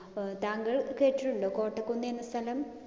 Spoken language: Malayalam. ഏർ താങ്കൾ കേട്ടിട്ടുണ്ടോ കോട്ടക്കുന്ന് എന്ന സ്ഥലം?